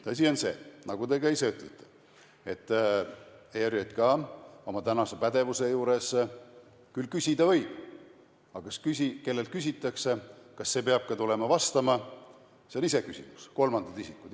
Tõsi on see, nagu te ka ise ütlesite, et ERJK oma pädevuse juures küll küsida võib, aga kas see, kellelt küsitakse, peab tulema ka vastama, on iseküsimus – kolmandad isikud.